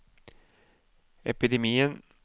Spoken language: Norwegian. epidemien